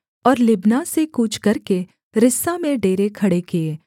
और लिब्ना से कूच करके रिस्सा में डेरे खड़े किए